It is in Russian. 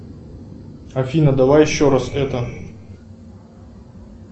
афина давай еще раз это